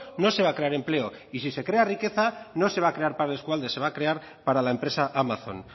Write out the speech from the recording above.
no se va a crear empleo y si se crea riqueza no se va crear para el eskualde se va a crear para la empresa amazon